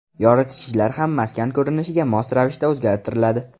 Yoritgichlar ham maskan ko‘rinishiga mos ravishda o‘zgartiriladi.